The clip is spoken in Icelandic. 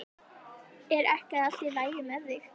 Er ekki allt í lagi með þig?